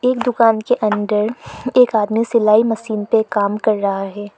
उन दुकान के अंदर एक आदमी सिलाई मशीन पे काम कर रहा है।